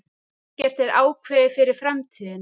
Ekkert er ákveðið fyrir framtíðina.